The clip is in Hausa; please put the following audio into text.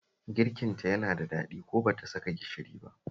Girkinta yana da daɗi ko ba ta saka gishiri ba